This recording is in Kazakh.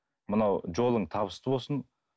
мынау жолың табысты болсын